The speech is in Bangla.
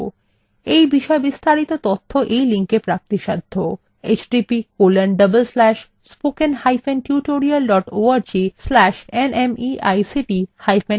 এই বিষয় বিস্তারিত তথ্য এই লিঙ্কএ প্রাপ্তিসাধ্য